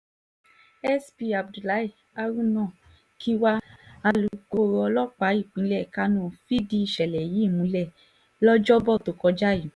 sp abdullahi haruna kiwa ọlọ́pàá ìpínlẹ̀ kánò ìṣẹ̀lẹ̀ yìí múlẹ̀ tó kọjá yìí